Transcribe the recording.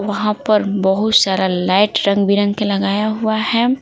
वहाँ पर बहुत सारा लाइट रंग बिरंग के लगाया हुआ है।